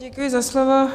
Děkuji za slovo.